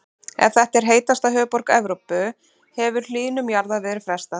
Ef þetta er heitasta höfuðborg Evrópu hefur hlýnun jarðar verið frestað.